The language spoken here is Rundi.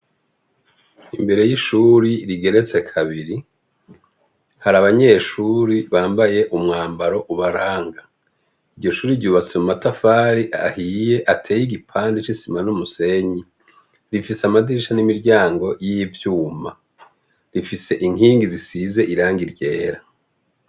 Imbere y'ishuri rigeretse kabiri, hari abanyeshure bambaye umwambaro ubaranga. Iryo shure ryubatse mu matafari ahiye ateye igipande c'isima n'umusenyi. Rifise amadirisha n'imiryango y'ivyuma. Rifise inkingi zisize irangi ryera.